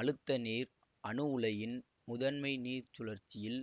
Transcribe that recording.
அழுத்த நீர் அணு உலையின் முதன்மை நீர்ச்சுழற்சியில்